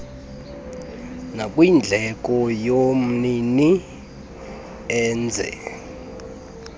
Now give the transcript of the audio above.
nakwindleko yomnini enze